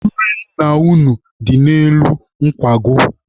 Nri nna unu dị n'elu nkwago.